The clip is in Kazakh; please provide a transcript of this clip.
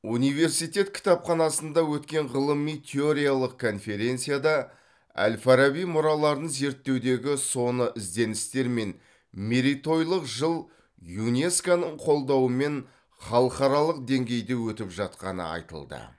университет кітапханасында өткен ғылыми теориялық конференцияда әл фараби мұраларын зерттеудегі соны ізденістер мен мерейтойлық жыл юнеско ның қолдауымен халықаралық деңгейде өтіп жатқаны айтылды